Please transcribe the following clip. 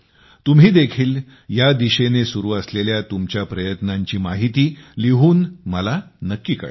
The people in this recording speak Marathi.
तुम्ही देखील या दिशेने सुरु असलेल्या तुमच्या प्रयत्नांची माहिती लिहून मला नक्की कळवा